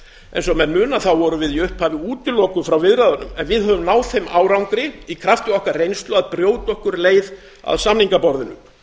eins og menn muna vorum við í upphafi útilokuð frá viðræðunum en höfum náð þeim árangri í krafti okkar reynslu að brjóta okkur leið að samningaborðinu